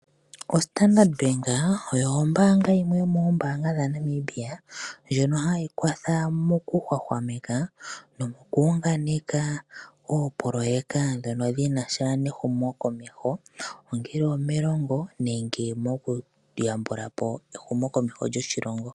OStandard bank oyo ombaanga yimwe yomoombaanga dhaNamibia ndjono hayi kwatha mokuhwahwameka nomokuunganeka oopoloyeka dhono dhinasha nehumo komeho ongele omelongo nenge mokuyambula po ehumo komeho lyoshilongo.